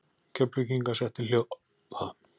Keflvíkinga setti hljóða.